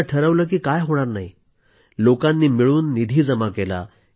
एकदा ठरवलं की काय होणार नाही लोकांनी मिळून निधी जमा केला